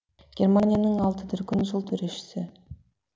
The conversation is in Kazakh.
германияның алты дүркін жыл төрешісі